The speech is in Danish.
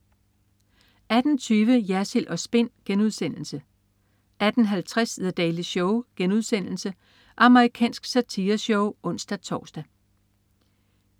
18.20 Jersild & Spin* 18.50 The Daily Show.* Amerikansk satireshow (ons-tors)